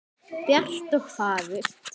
Bjart og fagurt.